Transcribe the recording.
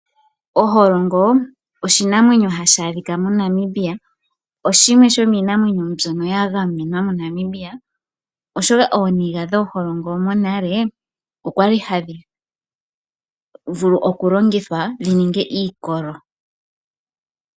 Oholongo oshinamwenyo hadhi adhika moNamibia , oshimwe shomiimamwenyo mbyono yagamenwa moNamibia oshoka ooniga dhooholongo monale okwa li hadhi vulu okulongithwa dhininge iikolo.